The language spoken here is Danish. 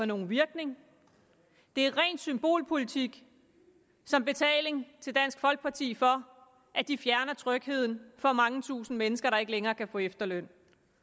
nogen virkning det er ren symbolpolitik som betaling til dansk folkeparti for at de fjerner trygheden for mange tusinde mennesker der ikke længere kan få efterløn